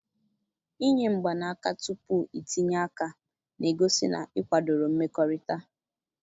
Inye mgbanaka tupu itinye aka na-egosi na ị kwadoro mmekọrịta